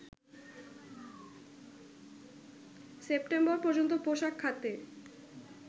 September পর্যন্ত পোশাক খাতে